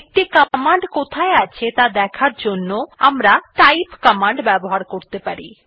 একটি কমান্ড কোথায় আছে ত়া দেখার জন্য আমরা টাইপ কমান্ড ব্যবহার করতে পারি